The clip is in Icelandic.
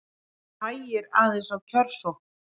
Hægir aðeins á kjörsókn